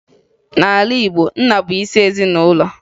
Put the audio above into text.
N'ala Igbo, nna bụ isi ezinụlọ